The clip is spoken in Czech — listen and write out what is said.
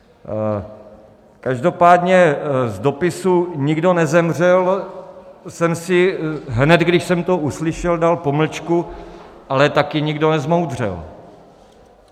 Každopádně z dopisu - nikdo nezemřel - jsem si hned, když jsem to uslyšel, dal pomlčku - ale taky nikdo nezmoudřel.